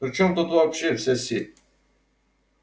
при чем тут вообще вся сеть